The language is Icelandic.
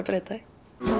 breyta því